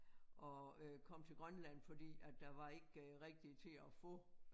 Og øh kom til Grønland fordi at der var ikke rigtig til at få